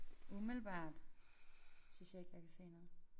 Umiddelbart synes jeg ikke jeg kan se noget